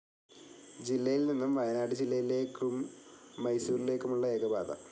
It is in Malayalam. ജില്ലയിൽനിന്നും വയനാട് ജില്ലയിലേക്കും മൈസൂരിലേക്കുമുള്ള ഏകപാത.